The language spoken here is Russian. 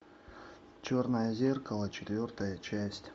черное зеркало четвертая часть